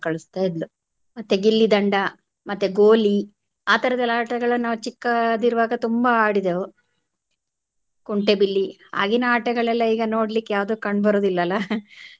ಕಳಸ್ತಾ ಇದ್ಲು ಮತ್ತೆ ಗಿಲ್ಲಿ ದಂಡ ಮತ್ತೆ ಗೋಲಿ ಆತರದೆಲ್ಲಾ ಆಟಗಳನ್ನ ನಾವು ಚಿಕ್ಕೋದಿರುವಾಗ ತುಂಬಾ ಆಡಿದೆವು ಕುಂಟೆಬಿಲ್ಲಿ ಆಗಿನ ಆಟಗಳೆಲ್ಲಾ ಈಗ ನೋಡ್ಲಿಕ್ಕೆ ಯಾವುದು ಕಂಡು ಬರುದಿಲ್ಲಲಾ.